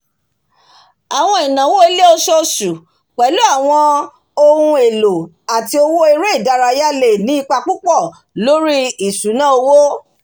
àwọn ináwó ilé oṣooṣù pẹ̀lú àwọn ohun élò àti owó eré ìdárayá lè ní ipa púpọ̀ lórí ìsúná owó